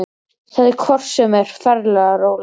Þetta er hvort sem er ferleg rola.